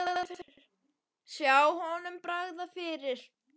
Sjá honum bregða fyrir!